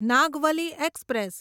Nagavali express